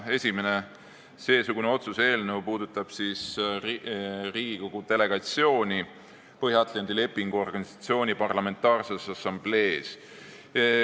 Esimene seesugune otsuse eelnõu puudutab Riigikogu delegatsiooni Põhja-Atlandi Lepingu Organisatsiooni Parlamentaarses Assamblees.